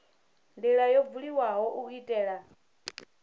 ndila yo buliwaho u itela